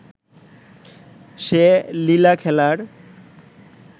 সে লীলা-খেলার